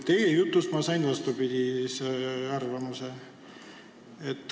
Teie jutus kõlas vastupidine arvamus.